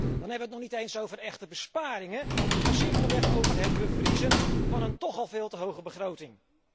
Dan hebben we het nog niet eens over echte besparingen maar simpelweg over het bevriezen van een toch al veel te hoge begroting.